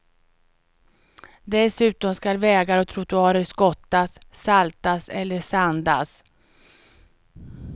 Dessutom skall vägar och trottoarer skottas, saltas eller sandas.